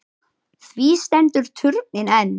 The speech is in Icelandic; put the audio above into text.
Því stendur turninn enn.